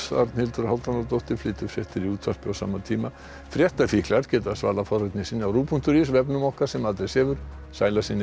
Arnhildur Hálfdánardóttir flytur fréttir í útvarpi á sama tíma geta svalað forvitni sinni á rúv punktur is vefnum okkar sem aldrei sefur sæl að sinni